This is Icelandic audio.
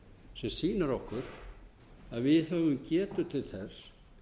sem sýnir okkur að við höfum getu til þess